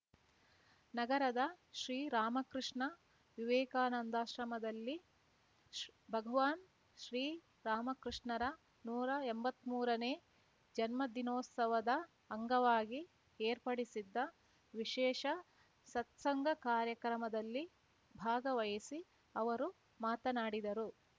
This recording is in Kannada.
ನಗರದ ಶ್ರೀ ರಾಮಕೃಷ್ಣ ವಿವೇಕಾನಂದಾಶ್ರಮದಲ್ಲಿ ಭಗವಾನ್ ಶ್ರೀ ರಾಮಕೃಷ್ಣರ ನೂರಾ ಎಂಬತ್ಮೂರನೇ ಜನ್ಮದಿನೋತ್ಸವದ ಅಂಗವಾಗಿ ಏರ್ಪಡಿಸಿದ್ದ ವಿಶೇಷ ಸತ್ಸಂಗ ಕಾರ್ಯಕ್ರಮದಲ್ಲಿ ಭಾಗವಹಿಸಿ ಅವರು ಮಾತನಾಡಿದರು